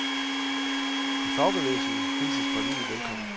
I fagbevægelsen hilses forliget velkommen.